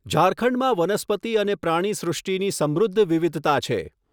ઝારખંડમાં વનસ્પતિ અને પ્રાણીસૃષ્ટિની સમૃદ્ધ વિવિધતા છે.